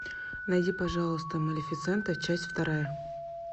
найди пожалуйста малефисента часть вторая